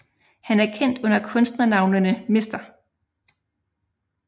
Han er kendt under kunstnernavnene Mr